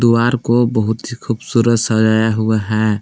वार को बहुत ही खूबसूरत सजाया हुआ है।